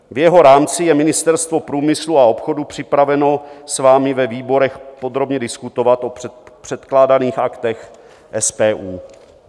V jeho rámci je Ministerstvo průmyslu a obchodu připraveno s vámi ve výborech podrobně diskutovat o předkládaných Aktech SPU.